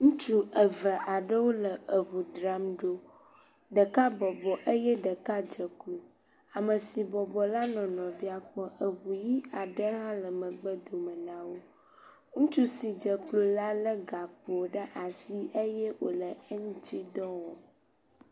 Ntsu eve aɖewo le eŋu dram ɖo, ɖeka bɔbɔ eye ɖeka dze klo, ame si bɔbɔ la nɔ nɔvia kpɔm, eŋu ʋi aɖe hã le megbedome na wo, ame si dze klo la lé gakpo ɖe asi eye ole eŋtsidɔ wɔm.